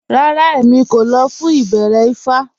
Rárá, Èmí kò lọ̀ fún ìbẹ̀rẹ̀ ifá